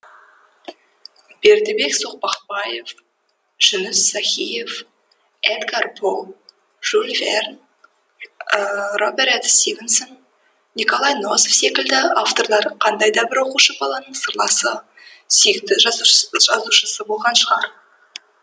бердібек соқпақбаев жүніс сахиев эдгар по жюль верн роберет стивенсон николай носов секілді авторлар қандай да бір оқушы баланың сырласы сүйікті жазушысы болған шығар